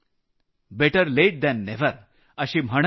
better late than never अशी म्हणही आहे